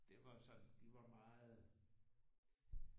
Det var sådan de var meget